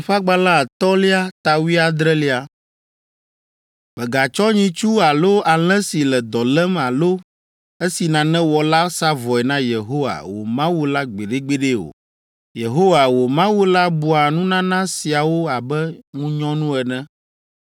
“Mègatsɔ nyitsu alo alẽ si le dɔ lém alo esi nane wɔ la sa vɔe na Yehowa, wò Mawu la gbeɖegbeɖe o. Yehowa, wò Mawu la bua nunana siawo abe ŋunyɔnu ene.